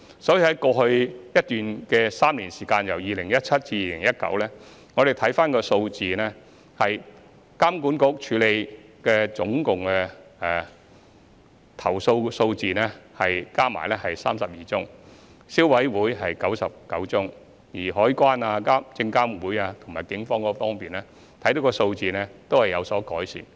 在過去3年，即由2017年至2019年，我們可以看到相關的投訴數字有所改善，監管局處理的共有32宗，消費者委員會有99宗，至於海關、證監會及警方的數字亦有改善。